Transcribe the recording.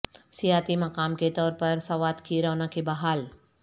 سیاحتی مقام کے طور پر سوات کی رونقیں بحال